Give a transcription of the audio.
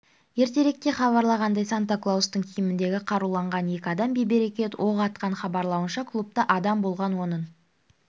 ертеректе хабарланғандай санта-клаустың киіміндегі қаруланған екі адам бейберекет оқ атқан хабарлауынша клубта адам болған оның